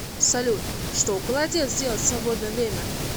салют что голодец делает в свободное время